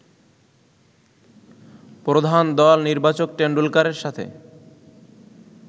প্রধান দল নির্বাচক টেনডুলকারের সাথে